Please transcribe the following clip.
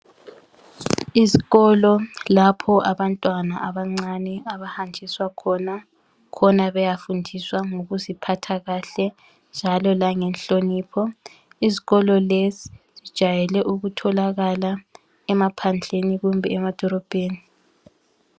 Izikolo lapho abantwana abancane abahanjiswa khona, khona beyafundiswa ngokuziphatha kahle njalo langenhlonipho, izikolo lezi zijayele ukutholakala emaphandleni kumbe emadolobheni